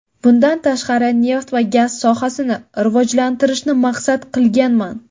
Bundan tashqari neft va gaz sohasini rivojlantirishni maqsad qilganman.